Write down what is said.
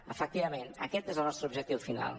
efectivament aquest és el nostre objectiu final